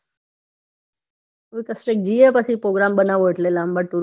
હવે કશેક જઇયે પછી